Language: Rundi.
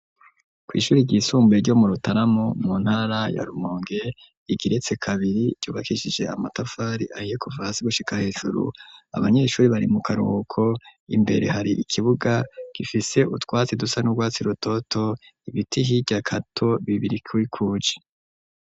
Kw'ishuri ryisumbuye ryo mu rutaramu mu ntara ya Rumonge igeretse kabiri ryubakishije amatafari ayokuva hasi gushika hejuru abanyeshuri bari mu karuko imbere hari ikibuga gifise utwatsi dusa n'urwatsi rutoto ibiti hirya kato bibiri kubikuje.